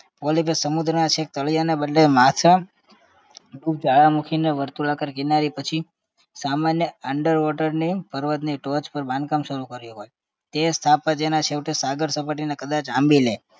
polyp એ સમુદ્રના છેક તળિયાના બદલે માછમ જ્વાળામુખીને વર્તુળાકાર કિનારીએ પછી સામાન્ય underwater ની પર્વતની ટોચ પર બાંધકામ શરુ કર્યું હોય તે સ્થાપત્યના છેવટે સાગર સપાટીને કદાચ આંબી લે